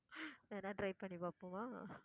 வேணா try பண்ணி பாப்போமா?